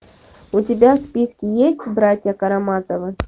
у тебя в списке есть братья карамазовы